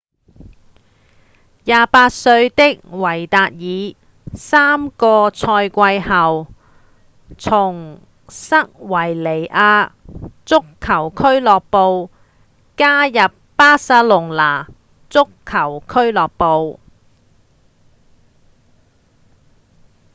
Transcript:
28歲的維達爾三個賽季前從塞維利亞足球俱樂部加入巴塞隆納足球俱樂部